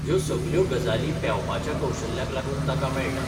ह्यो सगल्यो गजाली पेवपाच्या कौशल्याक लागून ताका मेळटा